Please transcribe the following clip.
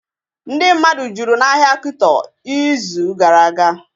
Ndị mmadụ jụrụ n'ahịa Kuto ịzụ gara aga